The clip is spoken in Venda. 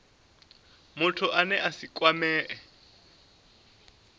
muthu ane a si kwamee